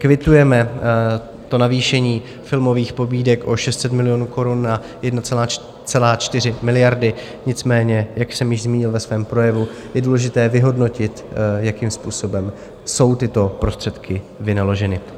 Kvitujeme navýšení filmových pobídek o 600 milionů korun na 1,4 miliardy, nicméně jak jsem již zmínil ve svém projevu, je důležité vyhodnotit, jakým způsobem jsou tyto prostředky vynaloženy.